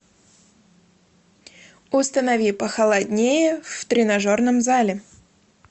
установи похолоднее в тренажерном зале